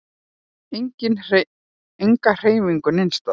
Enga hreyfingu neins staðar.